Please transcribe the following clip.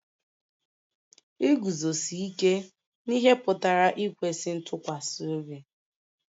Iguzosi ike n'ihe pụtara ikwesị ntụkwasị obi